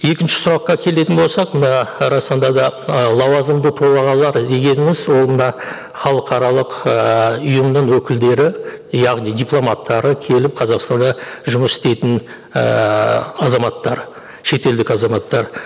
екінші сұраққа келетін болсақ мына расында да ы лауазымды тұлғалар дегеніміз ол мына халықаралық ііі ұйымның өкілдері яғни дипломаттары келіп қазақстанда жұмыс істейтін ыыы азаматтар шетелдік азаматтар